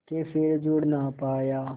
के फिर जुड़ ना पाया